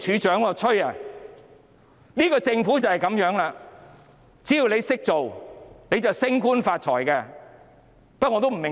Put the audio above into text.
這個政府就是這樣，只要"識做"，便可升官發財。